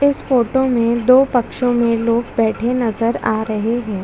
और इधर वाले पक्ष पे औरते बेठी हुई दिखाई दे रही है।